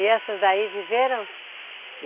E essas daí viveram?